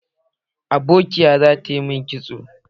Abokiya za ta yi min kitson